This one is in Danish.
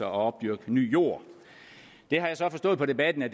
at opdyrke ny jord det har jeg så forstået på debatten at